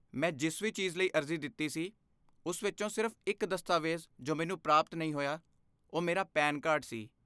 ਮੈਂ ਜਿਸ ਵੀ ਚੀਜ਼ ਲਈ ਅਰਜ਼ੀ ਦਿੱਤੀ ਸੀ, ਉਸ ਵਿੱਚੋਂ ਸਿਰਫ਼ ਇੱਕ ਦਸਤਾਵੇਜ਼ ਜੋ ਮੈਨੂੰ ਪ੍ਰਾਪਤ ਨਹੀਂ ਹੋਇਆ ਉਹ ਮੇਰਾ ਪੈਨ ਕਾਰਡ ਸੀ